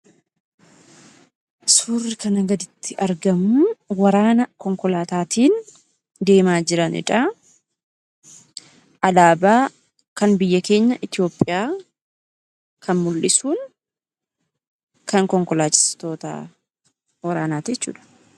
Suurri kanaa gaditti argamu, waraana konkolaataatiin deemaa jiranidha. Alaabaa kan biyya keenya Itoopiyaa kan mul'isuun kan konkolaachistoota waraanaati jechuudha.